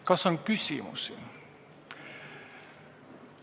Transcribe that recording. Kas on küsimusi?